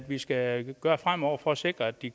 vi skal gøre fremover for at sikre at de